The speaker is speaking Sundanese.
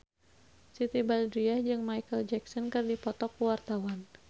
Siti Badriah jeung Micheal Jackson keur dipoto ku wartawan